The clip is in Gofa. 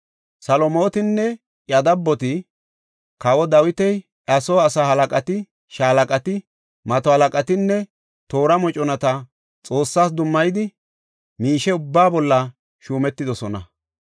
Salomootinne iya dabboti kawoy Dawiti, iya soo asaa halaqati, shaalaqati, mato halaqatinne toora moconata Xoossas dummayida miishe ubbaa bolla shuumetidosona.